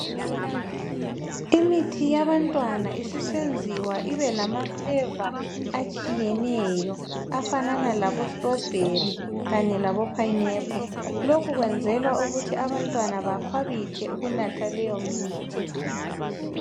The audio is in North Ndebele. Imithi yabantwana isisenziwa ibe lama fleva atshiyeneyo, afanana labo strobheri kanye labo pineapple. Lokhu kwenzelwa ukuthi abantwana bakhwabithe ukunatha leyo mithi.